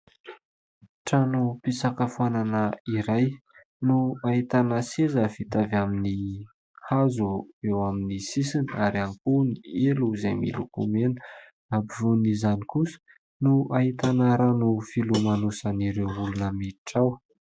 Tranom-pisakafoanana iray no ahitana seza vita avy amin'ny hazo eo amin'ny sisiny ary ihany koa ny elo izay miloko mena, ampovoan'izany kosa no ahitana rano filomanosan'ireo olona miditra ao.